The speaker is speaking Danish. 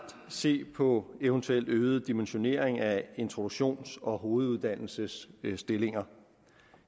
at se på eventuelt øget dimensionering af introduktions og hoveduddannelsesstillinger